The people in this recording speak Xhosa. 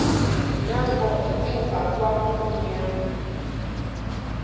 nakho icuba kwakumnyama